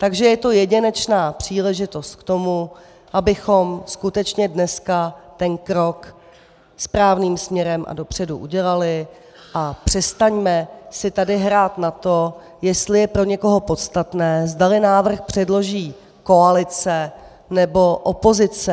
Takže je to jedinečná příležitost k tomu, abychom skutečně dneska ten krok správným směrem a dopředu udělali a přestaňme si tady hrát na to, jestli je pro někoho podstatné, zdali návrh předloží koalice, nebo opozice.